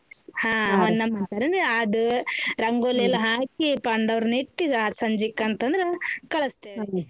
ಹಾ ಹೊನ್ನಂಬ್ರಿ ಅಂತಾರನ್ರಿ ಆದ್ ರಂಗೋಲಿ ಎಲ್ಲಾ ಹಾಕಿ ಪಾಂಡವ್ರನಿಟ್ಟ್ ಸಂಜೀಕಂತಂದ್ರ ಕಳಸ್ತೀವ್ ರೀ .